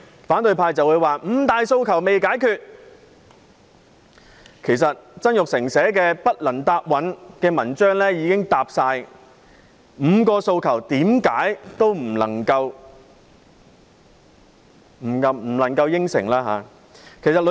反對派接着會說五大訴求仍未解決，其實曾鈺成所寫的題為"不能答允"的文章，已經充分解釋為何不能答應該5項訴求。